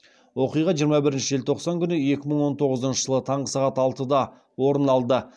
оқиға жиырма бірінші желтоқсан екі мың он тоғызыншы жылы таңғы сағат алтыда орын алды